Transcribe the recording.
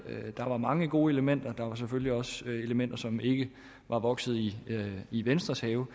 der var mange gode elementer der var selvfølgelig også elementer som ikke var vokset i i venstres have